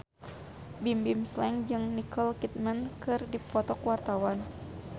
Bimbim Slank jeung Nicole Kidman keur dipoto ku wartawan